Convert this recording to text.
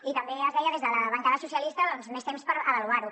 i també es deia des de la bancada socialista doncs més temps per avaluar ho